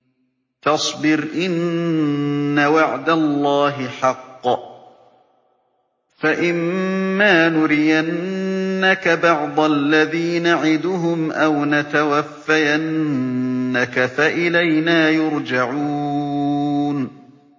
فَاصْبِرْ إِنَّ وَعْدَ اللَّهِ حَقٌّ ۚ فَإِمَّا نُرِيَنَّكَ بَعْضَ الَّذِي نَعِدُهُمْ أَوْ نَتَوَفَّيَنَّكَ فَإِلَيْنَا يُرْجَعُونَ